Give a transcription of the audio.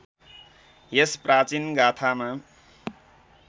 यस प्राचीन गाथामा